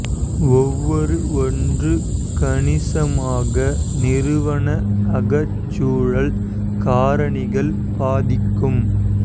ஒவ்வொரு ஒன்று கணிசமாக நிறுவன அகச் சூழல் காரணிகள் பாதிக்கும்